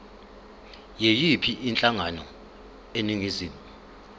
yiyiphi inhlangano eningizimu